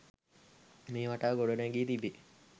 මේ වටා ගොඩනැඟී තිබේ.